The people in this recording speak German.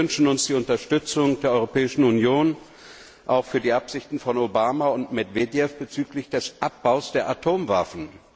Wir wünschen uns die Unterstützung der Europäischen Union auch für die Absichten von Obama und Medwedjew bezüglich des Abbaus der Atomwaffen.